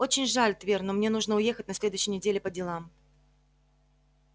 очень жаль твер но мне нужно уехать на следующей неделе по делам